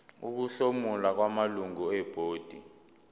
ukuhlomula kwamalungu ebhodi